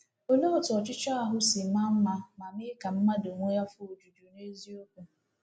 Olee otú ọchụchọ ahụ si maa mma ma mee ka mmadụ nwee afọ ojuju n’eziokwu!